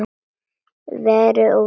Verri og verri.